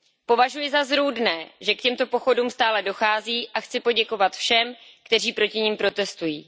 Považuji za zrůdné, že k těmto pochodům stále dochází, a chci poděkovat všem, kteří proti nim protestují.